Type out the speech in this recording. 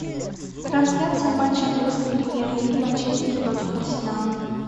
трансляция матча английской премьер лиги манчестер против арсенала